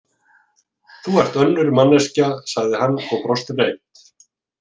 Þú ert önnur manneskja, sagði hann og brosti breitt.